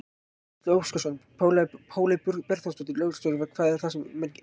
Gísli Óskarsson: Páley Borgþórsdóttir, lögreglustjóri, hvað er það sem menn gera?